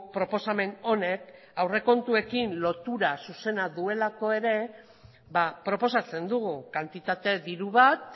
proposamen honek aurrekontuekin lotura zuzena duelako ere ba proposatzen dugu kantitate diru bat